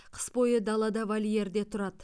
қыс бойы далада вольерде тұрады